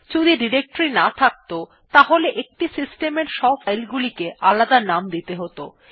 যদি ডিরেক্টরী না থাকত তাহলে একটি সিস্টেম এর সব ফাইল গুলিকে আলাদা নাম দিতে হত